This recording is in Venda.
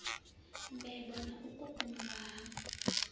mbebo na u kukumuwa ha